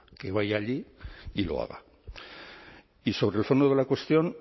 que vaya allí y lo haga y sobre el fondo de la cuestión